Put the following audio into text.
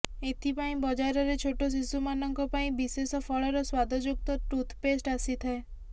ଏଥିପାଇଁ ବଜାରରେ ଛୋଟ ଶିଶୁମାନଙ୍କ ପାଇଁ ବିଶେଷ ଫଳର ସ୍ବାଦ ଯୁକ୍ତ ଟୁଥପେଷ୍ଟ ଆସିଥାଏ